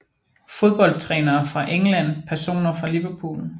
Fodboldtrænere fra England Personer fra Liverpool